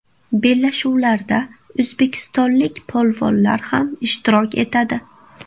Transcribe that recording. Bellashuvlarda o‘zbekistonlik polvonlar ham ishtirok etadi.